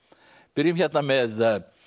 byrjum hérna með